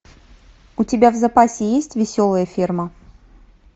у тебя в запасе есть веселая ферма